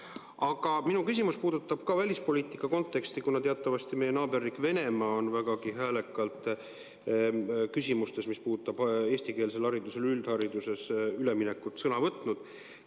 Aga minu küsimus puudutab ka välispoliitika konteksti, kuna teatavasti meie naaberriik Venemaa on vägagi häälekalt küsimuses, mis puudutab üldhariduskoolides eestikeelsele haridusele üleminekut, sõna võtnud.